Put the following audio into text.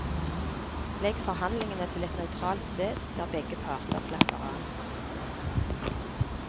Legg forhandlingene til et nøytralt sted der begge parter slapper av.